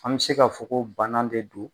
An me se ka fɔ ko bana de don